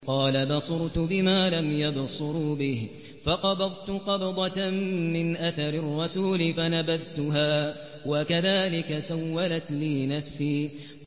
قَالَ بَصُرْتُ بِمَا لَمْ يَبْصُرُوا بِهِ فَقَبَضْتُ قَبْضَةً مِّنْ أَثَرِ الرَّسُولِ فَنَبَذْتُهَا وَكَذَٰلِكَ سَوَّلَتْ لِي نَفْسِي